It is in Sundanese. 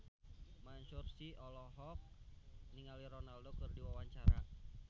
Mansyur S olohok ningali Ronaldo keur diwawancara